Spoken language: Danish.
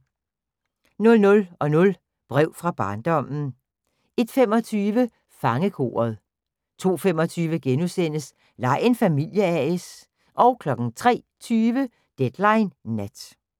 00:00: Brev fra barndommen 01:25: Fangekoret 02:25: Lej en familie A/S * 03:20: Deadline Nat